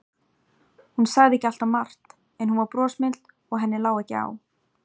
Hún sagði ekki alltaf margt, en hún var brosmild og henni lá ekki á.